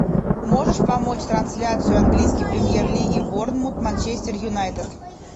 можешь помочь трансляцию английской премьер лиги борнмут манчестер юнайтед